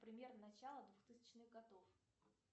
примерно начало двухтысячных годов